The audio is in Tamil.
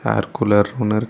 ஏர் கூலர் ஒன்னு இரு--